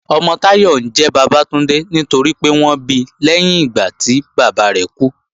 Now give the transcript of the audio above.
Ọmọ Táyọ̀ ńjẹ́ Bàbátúndé nítorípé wọ́n bi lẹ́yìn ìgbà tí bàbá rẹ̀ kú